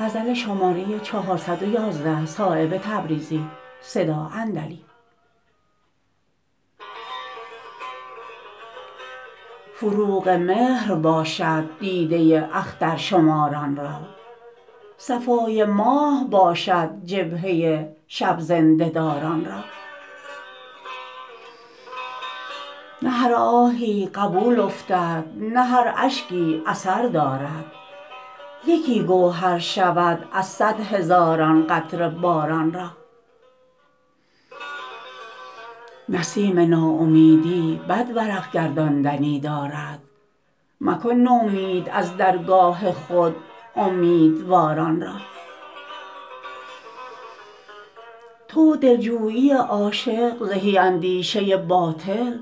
فروغ مهر باشد دیده اخترشماران را صفای ماه باشد جبهه شب زنده داران را نه هر آهی قبول افتد نه هر اشکی اثر دارد یکی گوهر شود از صد هزاران قطره باران را نسیم ناامیدی بد ورق گرداندنی دارد مکن نومید از درگاه خود امیدواران را تو و دلجویی عاشق زهی اندیشه باطل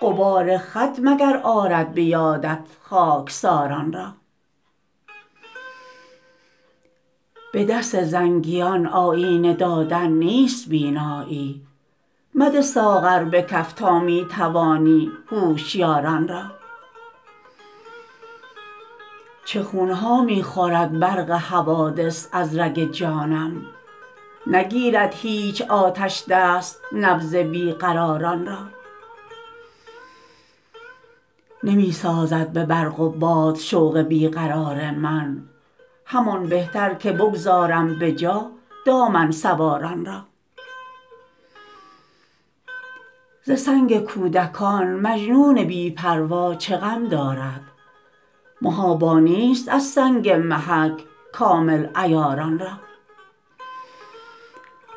غبار خط مگر آرد به یادت خاکساران را به دست زنگیان آیینه دادن نیست بینایی مده ساغر به کف تا می توانی هوشیاران را چه خونها می خورد برق حوادث از رگ جانم نگیرد هیچ آتشدست نبض بی قراران را نمی سازد به برق و باد شوق بی قرار من همان بهتر که بگذارم به جا دامن سواران را ز سنگ کودکان مجنون بی پروا چه غم دارد محابا نیست از سنگ محک کامل عیاران را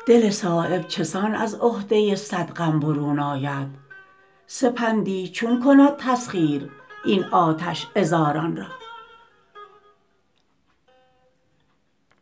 دل صایب چسان از عهده صد غم برون آید سپندی چون کند تسخیر این آتش عذاران را